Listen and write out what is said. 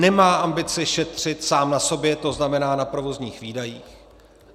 Nemá ambici šetřit sám na sobě, to znamená na provozních výdajích.